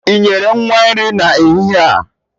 Ị nyere nwa nri n'ehihie a.?